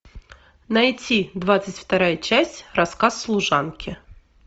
найти двадцать вторая часть рассказ служанки